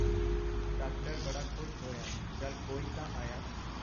Doctor ਬੜਾ ਖੁਸ਼ ਹੋਇਆ ਚੱਲ ਕੋਈ ਤਾਂ ਆਇਆ.